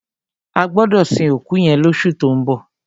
A gbọdọ sin òkú yẹn lọṣu tó ń bọ̀.